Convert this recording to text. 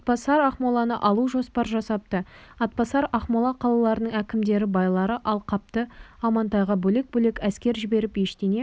атбасар ақмоланы алу жоспар жасапты атбасар ақмола қалаларының әкімдері байлары алақтапты амантайға бөлек-бөлек әскер жіберіп ештеңе